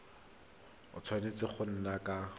a tshwanetse go nna ka